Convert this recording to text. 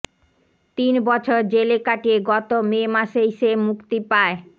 তিন বছর জেলে কাটিয়ে গত মে মাসেই সে মুক্তি পায়